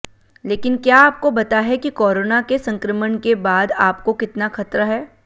लेकिन क्या आपको बता है कि कोरोना के संक्रमण के बाद आपको कितना खतरा है